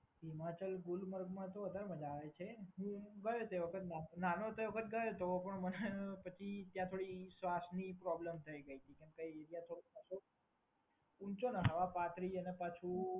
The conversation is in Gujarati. હિમાચલ કોલ્ડ માંતો વધારે મજા આવે છે. હું ગયો હતો. હું નાનો હતો એ વખત ગયો હતો. તો પણ મને પછી ત્યાં થોડી શ્વાસની પ્રોબ્લેમ થઈ ગઈ હતી. એટલે હું ન ગયો. ઉપર હવા પાતળી અને પાછું